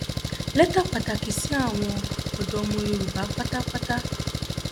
lẹtà pàtàkì sí àwọn ọdọ ọmọ yorùbá pátápátá